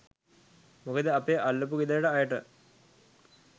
මොකද අපේ අල්ලපු ගෙදර අයට